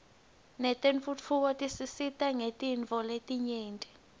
tentfutfuko tisisita ngetinifo letnyenti